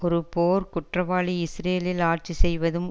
ஒரு போர் குற்றவாளி இஸ்ரேலில் ஆட்சி செய்வதும்